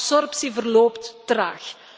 De absorptie verloopt traag.